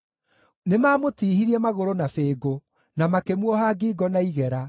Nĩmamũtiihirie magũrũ na bĩngũ, na makĩmuoha ngingo na igera,